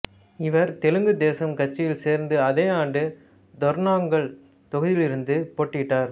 இவர் தெலுங்கு தேசம் கட்சியில் சேர்ந்து அதே ஆண்டு தொர்னாங்கல் தொகுதியிலிருந்து போட்டியிட்டார்